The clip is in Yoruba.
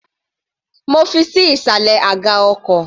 Mo fi ṣí ìsàlẹ̀ aga ọkọ̀.